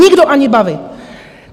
Nikdo ani bavit!